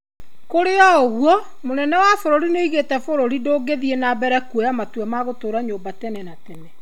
Kũrĩ oũguo, mũnene wa bũrũri nĩaugĩte bũrũri ndũngĩthiĩ na mbere kũoya matua ma gũtũra nyũmba tene na tene.